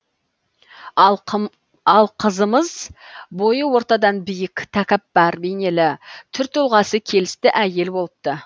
ал қызымыз бойы ортадан биік тәкаппар бейнелі түр тұлғасы келісті әйел болыпты